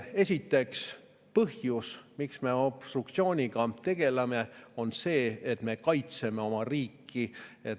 Esiteks, põhjus, miks me obstruktsiooniga tegeleme, on see, et me kaitseme oma riiki.